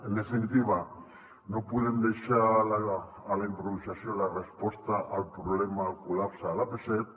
en definitiva no podem deixar a la improvisació la resposta al problema del col·lapse de l’ap set